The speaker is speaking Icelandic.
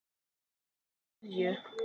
Skilaðu kveðju.